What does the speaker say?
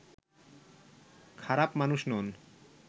খারাপ মানুষ নয়